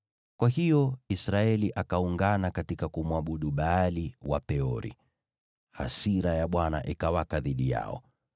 Kwa hiyo Israeli akaungana katika kumwabudu Baali wa Peori. Hasira ya Bwana ikawaka dhidi yao.